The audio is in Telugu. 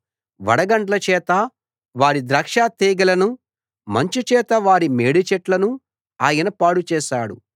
వడగండ్ల చేత వారి ద్రాక్షతీగెలను మంచు చేత వారి మేడిచెట్లను ఆయన పాడు చేశాడు